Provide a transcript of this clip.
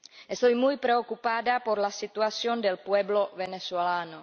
Estoy muy preocupada por la situación del pueblo venezolano.